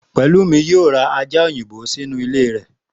Pẹ̀lúmi yóò ra ajá òyìnbó sínú ilé rẹ̀